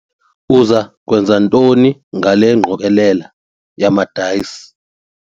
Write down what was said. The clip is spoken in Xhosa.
Uza kwenza ntoni ngale ngqokelela yamadayisi?